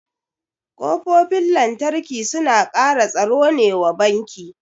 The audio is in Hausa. Kofofin lantarki suna kara tsaro ne wa banki